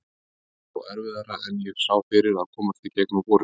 Það var þó erfiðara en ég sá fyrir að komast í gegnum vorið.